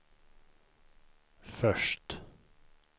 först